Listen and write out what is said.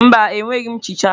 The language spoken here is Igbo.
Mba, enweghị m nchicha.